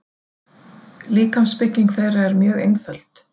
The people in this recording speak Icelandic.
Líkamsbygging þeirra er mjög einföld.